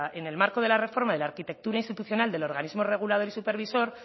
en el marco de la reforma de la arquitectura institucional del organismo regulador y supervisor